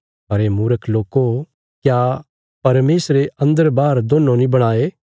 अरे मूर्ख लोको क्या परमेशरे अन्दर बाहर दोन्नों नीं बणाये